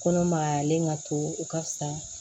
Kɔnɔ magayalen ka to u ka fisa